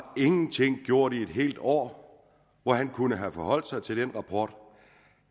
ingenting gjort i et helt år hvor han kunne have forholdt sig til den rapport